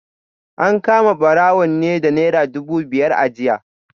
An kama barawon ne da Naira dubu biyar a jiya